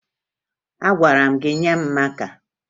Agwara m gị nye m maka!